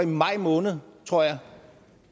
maj måned tror jeg